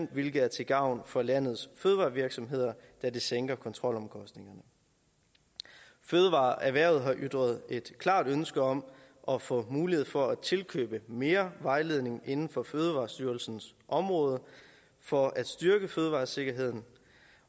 hvilket er til gavn for landets fødevarevirksomheder da det sænker kontrolomkostningerne fødevareerhvervet har ytret et klart ønske om at få mulighed for at tilkøbe mere vejledning inden for fødevarestyrelsens område for at styrke fødevaresikkerheden